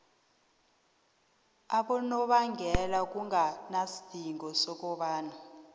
abonobangela kunganasidingo sokobana